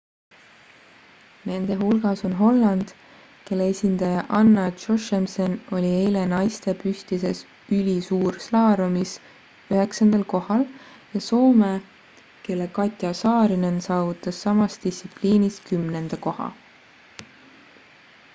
nende hulgas on holland kelle esindaja anna jochemsen oli eile naiste püstises ülisuurslaalomis üheksandal kohal ja soome kelle katja saarinen saavutas samas distsipliinis kümnenda koha